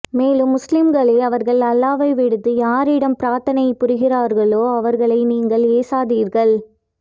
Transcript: மேலும் முஸ்லிம்களே அவர்கள் அல்லாஹ்வை விடுத்து யாரிடம் பிரார்த்தனை புரிகின்றார்களோ அவர்களை நீங்கள் ஏசாதீர்கள்